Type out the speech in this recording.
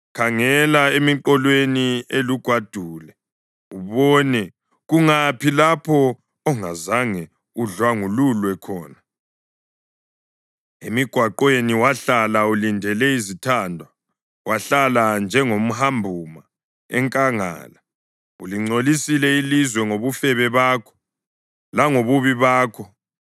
“Khangela emiqolweni elugwadule ubone. Kungaphi lapho ongazange udlwangululwe khona? Emigwaqweni wahlala ulindele izithandwa, wahlala njengomhambuma enkangala. Ulingcolisile ilizwe ngobufebe bakho langobubi bakho.